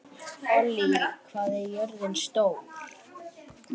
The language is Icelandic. Ollý, hvað er jörðin stór?